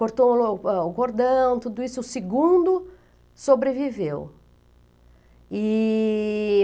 Cortou, ah, o cordão, tudo isso, o segundo sobreviveu.